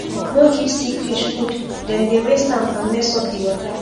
no give sick fish fooddem dey waste am and mess up di water